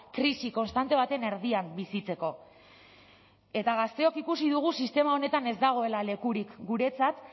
krisi konstante baten erdian bizitzeko eta gazteok ikusi dugu sistema honetan ez dagoela lekurik guretzat